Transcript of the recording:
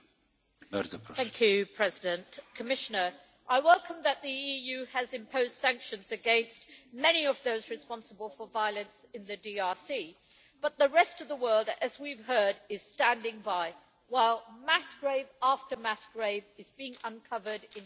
Mr President, I welcome the fact that the EU has imposed sanctions against many of those responsible for violence in the DRC, but the rest of the world, as we have heard, is standing by while mass grave after mass grave is being uncovered in Kasai.